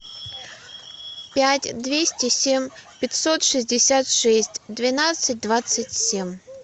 пять двести семь пятьсот шестьдесят шесть двенадцать двадцать семь